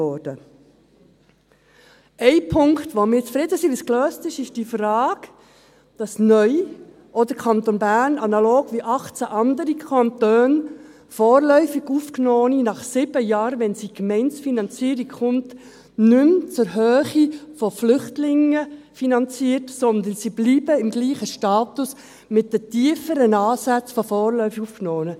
Ein Punkt, bei dem wir damit zufrieden sind, wie es gelöst ist, ist die Frage, dass neu auch der Kanton Bern, analog zu 18 anderen Kantonen, vorläufig Aufgenommene nach 7 Jahren, wenn es zur Gemeindefinanzierung kommt, nicht mehr zur Höhe von Flüchtlingen finanziert, sondern dass sie im selben Status bleiben, mit den tieferen Ansätzen von vorläufig Aufgenommenen.